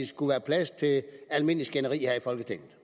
skulle være plads til almindeligt skænderi her i folketinget